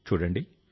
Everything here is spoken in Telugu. చూడండి